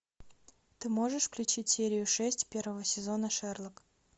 ты можешь включить серию шесть первого сезона шерлок